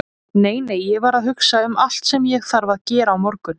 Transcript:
Nei, nei, ég var að hugsa um allt sem ég þarf að gera á morgun.